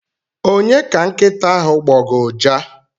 Onye ka nkịta ahụ gbọga ụja?